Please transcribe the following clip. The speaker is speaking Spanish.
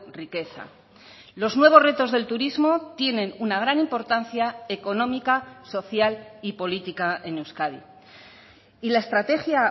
riqueza los nuevos retos del turismo tienen una gran importancia económica social y política en euskadi y la estrategia